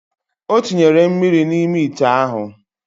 Otinyere mmiri na ime ite ahu.